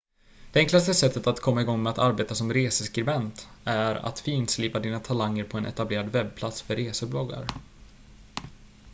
det enklaste sättet att komma igång med att arbeta som reseskribent är att finslipa dina talanger på en etablerad webbplats för resebloggar